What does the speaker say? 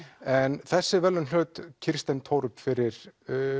en þessi verðlaun hlaut Kirsten fyrir